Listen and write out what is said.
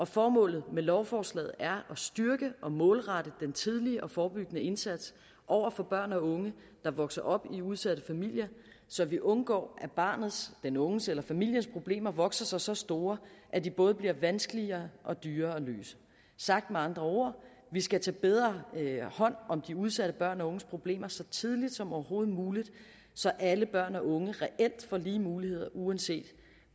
formålet med lovforslaget er at styrke og målrette den tidlige og forebyggende indsats over for børn og unge der vokser op i udsatte familier så vi undgår at barnets den unges eller familiens problemer vokser sig så store at de både bliver vanskeligere og dyrere at løse sagt med andre ord vi skal tage bedre hånd om de udsatte børn og unges problemer så tidligt som overhovedet muligt så alle børn og unge reelt får lige muligheder uanset